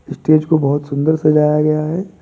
Stage को बहोत सुन्दर सजाया गया है।